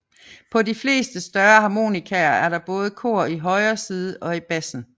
På de fleste større harmonikaer er der både kor i højre side og i bassen